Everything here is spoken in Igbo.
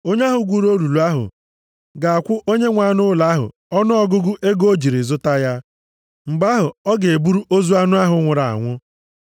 onye ahụ gwuru olulu ahụ ga-akwụ onyenwe anụ ụlọ ahụ ọnụọgụgụ ego o jiri zụta ya. Mgbe ahụ ọ ga-eburu ozu anụ ahụ nwụrụ anwụ.